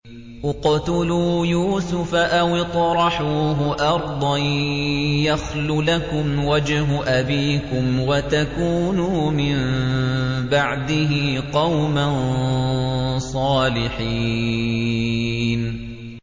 اقْتُلُوا يُوسُفَ أَوِ اطْرَحُوهُ أَرْضًا يَخْلُ لَكُمْ وَجْهُ أَبِيكُمْ وَتَكُونُوا مِن بَعْدِهِ قَوْمًا صَالِحِينَ